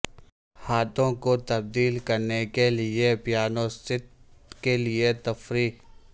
ہاتھوں کو تبدیل کرنے کے لئے پیانوست کے لئے تفریح